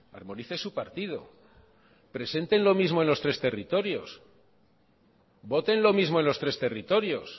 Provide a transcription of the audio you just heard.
armonice su partido presente lo mismo en los tres territorios voten lo mismo en los tres territorios